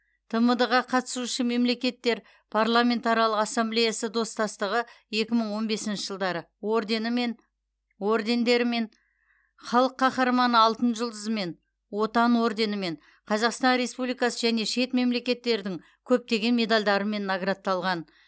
тмд ға қатысушы мемлекеттер парламентаралық ассамблеясы достастығы екі мың он бесінші жылдары орденімен ордендерімен халық қаһарманы алтын жұлдызымен отан орденімен қазақстан республикасы және шет мемлекеттердің көптеген медальдарымен наградталған